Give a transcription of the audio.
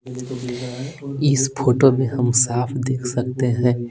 इस फोटो में हम साफ देख सकते हैं।